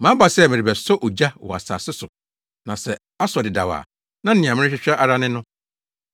“Maba sɛ merebɛsɔ ogya wɔ asase so na sɛ asɔ dedaw a, na nea merehwehwɛ ara ne no.